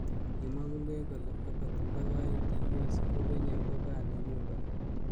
Kimwa Bungei kole angot ndakyoetyi US ko Kenya ko kaa nenyu kora.